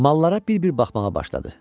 Mallara bir-bir baxmağa başladı.